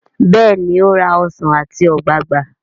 béèni o rà Ọsán ati ogbagba.